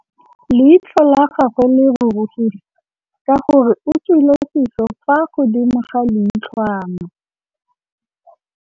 Leitlhô la gagwe le rurugile ka gore o tswile sisô fa godimo ga leitlhwana.